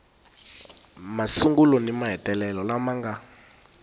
masungulo ni mahetelelo lama nga